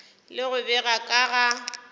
le go bega ka ga